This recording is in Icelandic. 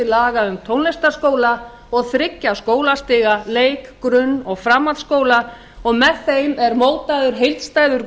laga um tónlistarskóla og þriggja skólastiga leik grunn og framhaldsskóla og með þeim er mótaður heildstæður